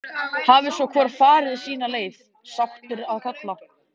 Hafi svo hvor farið sína leið, sáttur að kalla.